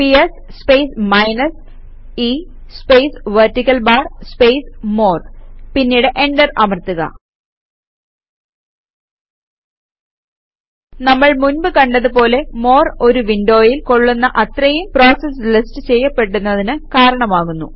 PS space minus e space vertical bar space more പിന്നീട് enter അമർത്തുക നമ്മൾ മുൻപ് കണ്ടത് പോലെ മോർ ഒരു വിൻഡോയിൽ കൊള്ളുന്ന അത്രയും പ്രോസസസ് ലിസ്റ്റ് ചെയ്യപ്പെടുന്നതിന് കാരണമാകുന്നു